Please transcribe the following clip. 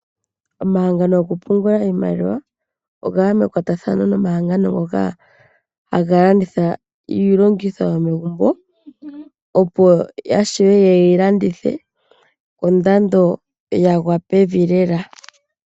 Omahangano gokupungula iimaliwa oga ya mekwatathano nomahangano ngoka haga landitha iilongitho yomegumbo, opo ya shiwe yeyi landithe kondando ya gwa pevi lela.